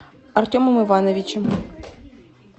артемом ивановичем